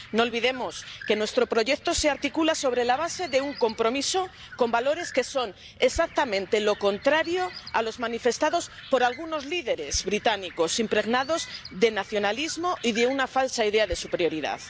No olvidemos que nuestro proyecto se articula sobre la base de un compromiso con valores que son exactamente los contrarios a los manifestados por algunos líderes británicos, impregnados de nacionalismo y de una falsa idea de superioridad.